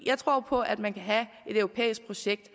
jeg tror på at man kan have et europæisk projekt